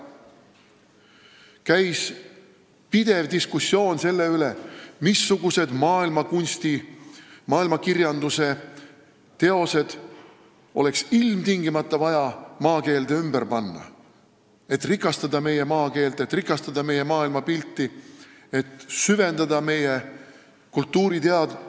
Käis pidev diskussioon selle üle, missugused maailmakirjanduse teosed oleks ilmtingimata vaja maakeelde ümber panna, et rikastada meie maakeelt, et rikastada meie maailmapilti, et süvendada meie kultuuriteadvust.